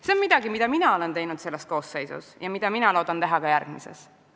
See on midagi, mille nimel mina olen töötanud selles Riigikogu koosseisus ja loodan seda teha ka järgmises.